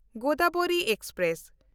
Godavari express